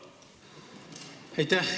Aitäh!